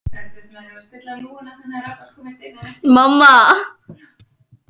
Lág rödd og hrjúf.